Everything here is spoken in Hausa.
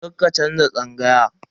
Karka canza tsangaya.